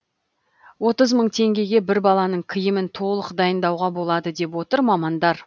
отыз мың теңгеге бір баланың киімін толық дайындауға болады деп отыр мамандар